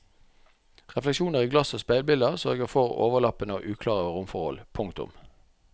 Refleksjoner i glass og speilbilder sørger for overlappende og uklare romforhold. punktum